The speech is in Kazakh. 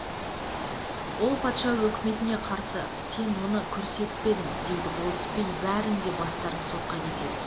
ол патша өкіметне қарсы сен соны көрсетпедің дейді болыс би бәрің де бастарың сотқа кетеді